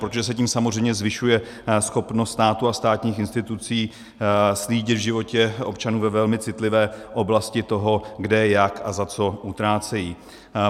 Protože se tím samozřejmě zvyšuje schopnost státu a státních institucí slídit v životě občanů ve velmi citlivé oblasti toho, kde jak a za co utrácejí.